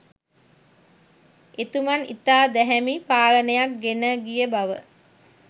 එතුමන් ඉතා දැහැමි පාලනයක් ගෙනගිය බව